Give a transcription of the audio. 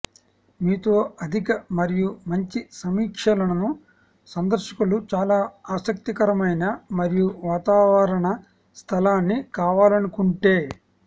మీతో అధిక మరియు మంచి సమీక్షలను సందర్శకులు చాలా ఆసక్తికరమైన మరియు వాతావరణ స్థలాన్ని కావాలనుకుంటే